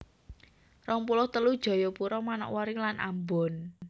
rong puluh telu Jayapura Manokwari lan Ambon